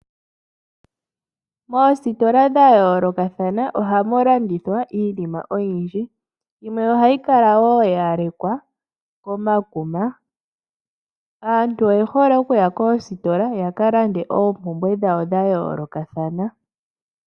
Moositola dha yoolokathana ohamu landithwa iinima oyindji. Yimwe ohayi kala wo ya lekwa komakuma. Aantu oye hole oku ya koositola ya ka lande oompumbwe dhawo dha yoolokathana.